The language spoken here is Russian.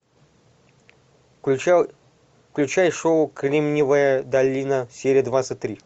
включай шоу кремниевая долина серия двадцать три